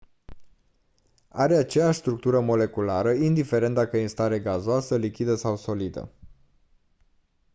are aceeași structură moleculară indiferent dacă e în stare gazoasă lichidă sau solidă